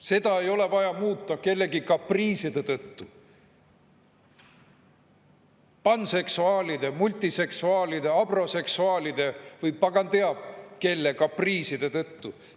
Seda ei ole vaja muuta kellegi kapriiside tõttu, panseksuaalide, multiseksuaalide, abroseksuaalide või pagan teab kelle kapriiside tõttu.